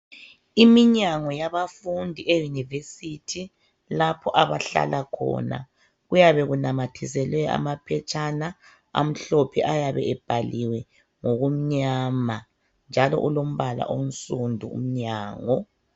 Iminyango yabafundi, elombala onsundu. Kunanyathiselwa amaphetshana amhlophe, njalo ayabe ebhalwe ngokumnyama. Kuse university lapha, lababafundi abahlala khona.